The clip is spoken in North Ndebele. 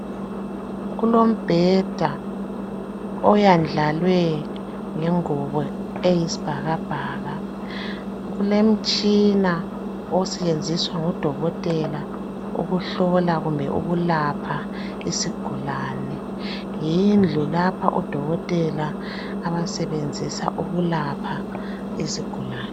Kulombheda oyendlalwe ngengubo eyisibhakabhaka kulomtshina osetshenziswa ngudokotela ukuhlola kumbe ukulapha isigulane yindlu lapho odokotela abasebenzisa ukulapha izigulane.